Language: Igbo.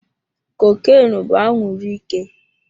Cocaine bụ anwuru ike.